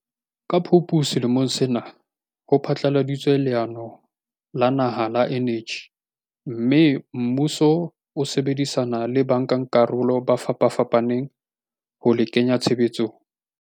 Ka Phupu selemong sena ho phatlaladitswe leano la naha la eneji mme, mmuso jwale o sebedisana le bankakarolo ba fapafapaneng ho le kenya tshebetsong.